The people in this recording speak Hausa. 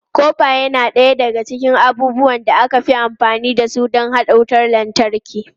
Kofa yana ɗaya daga cikin abubuwan da aka fi amfani da su don haɗa wutar lantarki.